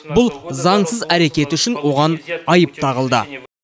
бұл заңсыз әрекеті үшін оған айып тағылды